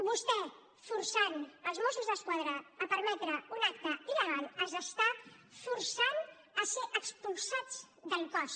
vostè forçant els mossos d’esquadra a permetre un acte il·legal els està forçant a ser expulsats del cos